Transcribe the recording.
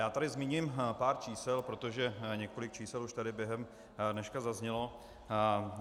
Já tady zmíním pár čísel, protože několik čísel už tady během dneška zaznělo.